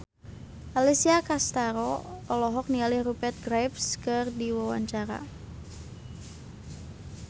Alessia Cestaro olohok ningali Rupert Graves keur diwawancara